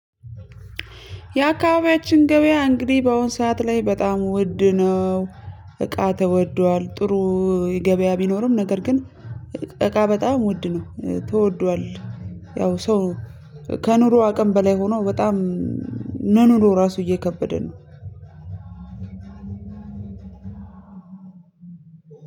የአካባቢያችን ገበያ እንግዲህ በአሁን ሰዓት ላይ በጣም ውድ ነው። እቃ ተወዷል ጥሩ። ገበያ ቢኖርም ነገር ግን እቃ በጣም ውድ ነው ተወዷል። ያው ሰው ከኑሮ አቅም በላይ ሆኖ በጣም መኖሩ ራሱ እየከበደ ነው።